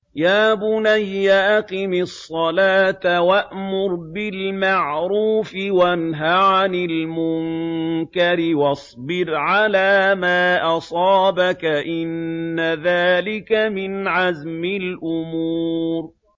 يَا بُنَيَّ أَقِمِ الصَّلَاةَ وَأْمُرْ بِالْمَعْرُوفِ وَانْهَ عَنِ الْمُنكَرِ وَاصْبِرْ عَلَىٰ مَا أَصَابَكَ ۖ إِنَّ ذَٰلِكَ مِنْ عَزْمِ الْأُمُورِ